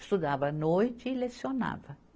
Estudava à noite e lecionava.